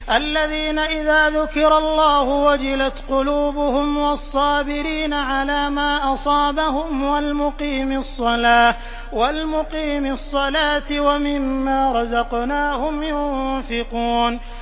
الَّذِينَ إِذَا ذُكِرَ اللَّهُ وَجِلَتْ قُلُوبُهُمْ وَالصَّابِرِينَ عَلَىٰ مَا أَصَابَهُمْ وَالْمُقِيمِي الصَّلَاةِ وَمِمَّا رَزَقْنَاهُمْ يُنفِقُونَ